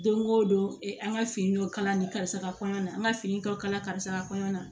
Don o don an ka fini dɔ kala ni karisa ka kɔɲɔ an ka fini dɔ kala karisa ka kɔɲɔ na